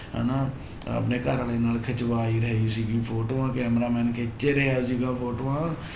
ਹਨਾ ਆਪਣੇ ਘਰ ਵਾਲੇ ਨਾਲ ਖਿਚਵਾ ਹੀ ਰਹੇ ਸੀਗੀ ਫੋਟੋਆਂ camera-man ਖਿੱਚ ਰਿਹਾ ਸੀਗਾ ਫੋਟੋਆਂ